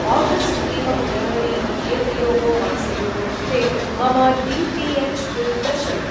August एवं जनवरी इत्येतयोः मासयोः कृते मम डी.टी.एच्.बिल् दर्शय।